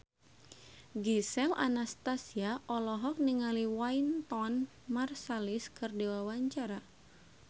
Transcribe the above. Gisel Anastasia olohok ningali Wynton Marsalis keur diwawancara